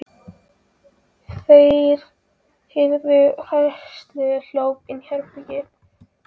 Þeir heyrðu hræðsluóp inni í herberginu.